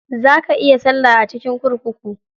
Za ka iya salla a cikin kurkuku.